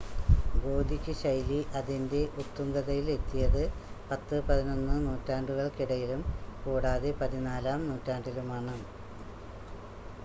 Gothic ശൈലി അതിൻ്റെ ഉത്തുംഗതയിൽ എത്തിയത് 10,11 നൂറ്റാണ്ടുകൾക്കിടയിലും കൂടാതെ 14-ാം നൂറ്റാണ്ടിലുമാണ്